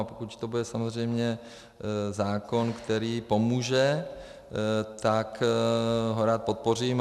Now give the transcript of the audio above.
A pokud to bude samozřejmě zákon, který pomůže, tak ho rád podpořím.